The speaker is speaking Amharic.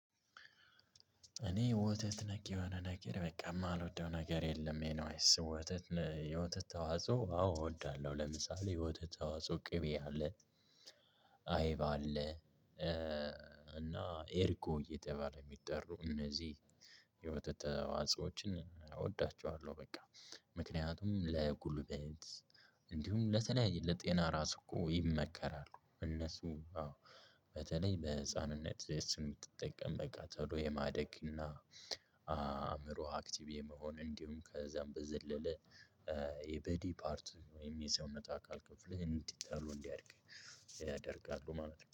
እኔ ወተት ነክ የሆነ ነገር በቃ የማልወደው ነገር የለም። ኤኒዌይስ ወተት የወተት ተዋጽኦ አዎ እወዳለሁ። ለምሳሌ የወተት ተዋጽኦ ቅቤ አለ አይባ አለ። እና እርጎ እየተባለ የሚጠሩ እነዚህ የወተት ተዋጾዎችን እወዳቸዋለሁ። በቃ ምክንያቱም ለጉልበት እንዲሁም ለተለያየ ለጤና ራስ እኮ ይመከራሉ። እነሱ በተለይ ለህፃንነት እሱን የምትጠቀም በቃ ቶሎ የማደግ እና። አእምሮህ አክቲቭ የመሆን እንዲሁም ከዛም በዘለለ። ቦዲ ፓርት ወይም የሰውነት አካል ክፍል እንዲታሉ እንዲያድግ ያደርጋሉ ማለት ነው